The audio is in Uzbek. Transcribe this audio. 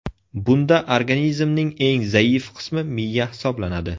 Bunda organizmning eng zaif qismi miya hisoblanadi.